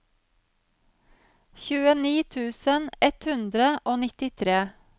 tjueni tusen ett hundre og nittitre